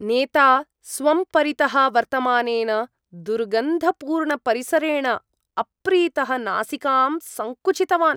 नेता, स्वं परितः वर्तमानेन दुर्गन्धपूर्णपरिसरेण अप्रीतः नासिकां सङ्कुचितवान्।